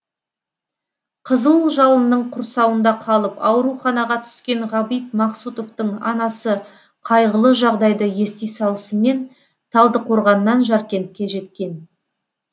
қызыл жалынның құрсауында қалып ауруханаға түскен ғабит мақсұтовтың анасы қайғылы жағдайды ести салысымен талдықорғаннан жаркентке жеткен